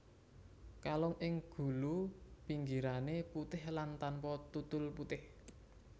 Kalung ing gulu pinggirané putih lan tanpa tutul putih